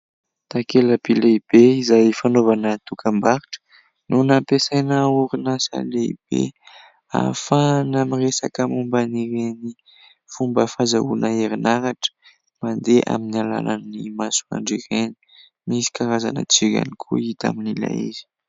Takelaby lehibe izay fanaovana dokam-barotra no nampiasaina orinasa lehibe, ahafahana miresaka momba ireny fomba fahazoana herinaratra mandeha amin'ny alalan'ny masoandro ireny ; misy karazana jiro ihany koa hita amin'ilay izy.